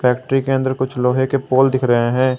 Factory के अंदर कुछ लोहे के पोल दिख रहे हैं।